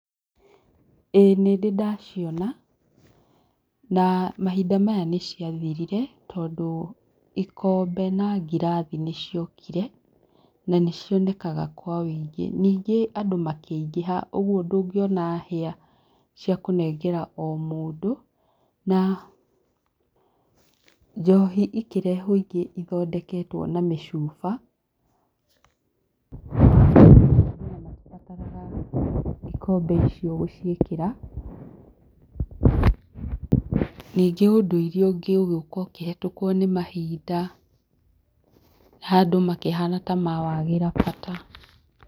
Ĩĩ nĩ ndĩ ndaciona na mahinda maya nĩ cia thirire tondũ ikombe na ngirathi nĩ ciokire ningĩ andũ makĩingĩha ũguo ndũngĩona hĩa cia kũnengera o mũndũ na njohi ĩkĩrehwo ingĩ ithondeketwo na mĩcuba ona matibataraga ikombe icio gũciĩkĩra, ningĩ ũndũire ũngĩ ũgĩũka ũkĩhetũkwo nĩ mahinda andũ makĩhana ta mawagĩra bata.